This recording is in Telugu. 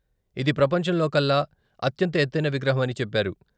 ఇది ప్రపంచంలోకల్లా అత్యంత ఎత్తైన విగ్రహమని చెప్పారు.